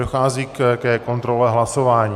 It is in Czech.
Dochází ke kontrole hlasování.